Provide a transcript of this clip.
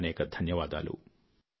అనేకానేక ధన్యవాదాలు